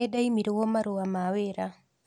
Nĩndaimirwo marũa ma wĩra